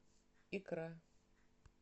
икра